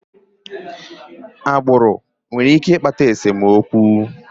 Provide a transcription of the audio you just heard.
Agbụrụ nwere ike ịkpata esemokwu.